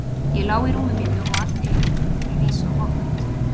Ég lá í rúmi mínu og allt í einu fór mér að rísa hold.